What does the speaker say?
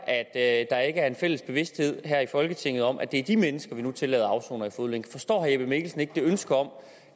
at der ikke er en fælles bevidsthed her i folketinget om at det er de mennesker vi nu tillader at afsone i fodlænke forstår herre jeppe mikkelsen ikke ønsket om